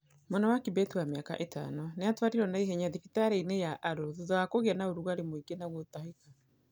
Mwana wa Kibeti wa mĩaka ĩtano nĩ atwarirwo na ihenya thibitarĩ-inĩ ya Arror thutha wa kũgĩa na ũrugarĩ mũingĩ na gũtahĩka.